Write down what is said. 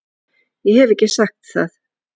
Ég hef ekki sagt það!